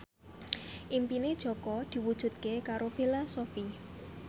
impine Jaka diwujudke karo Bella Shofie